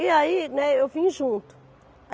E aí, né, eu vim junto.